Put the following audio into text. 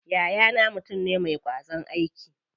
Yayana mutum ne ma ƙwazon aiki.